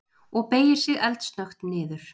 Og beygir sig eldsnöggt niður.